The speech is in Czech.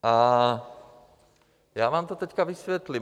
A já vám to teďka vysvětlím.